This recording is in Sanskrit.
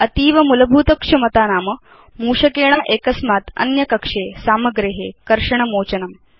अतीव मूलभूत क्षमता नाम मूषकेण एकस्मात् अन्य कक्षे सामग्रे कर्षण मोचनम्